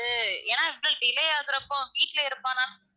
ஏன்னா இவ்வளோ delay ஆகுறப்போ வீட்ல இருப்பானான்னு